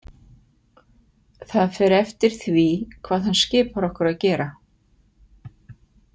Það fer eftir því hvað hann skipar okkur að gera.